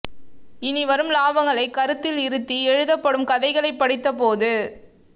இனி வரும் லாபங்களை கருத்தில் இருத்தி எழுதப்படும் கதைகளைப்படித்தபோது